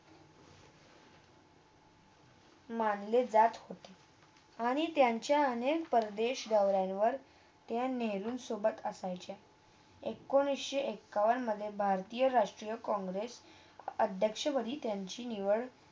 मानले जात होते आणि त्यांच्या अनेक प्रदेश दौराणयवर ते नेहरू सोबत असायचे एकोणीस एकावन्नमधे भारतीय राष्ट्रीय काँग्रेस अध्यक्ष त्यांची निवड